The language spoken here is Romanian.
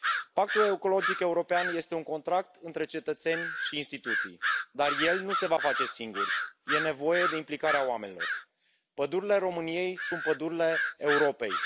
Pactul ecologic european este un contract între cetățeni și instituții, dar el nu se va face singur, e nevoie de implicarea oamenilor. Pădurile României sunt pădurile Europei.